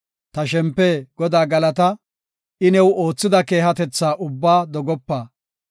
Ta shempe Godaa galata! I new oothida keehatetha ubbaa dogopa.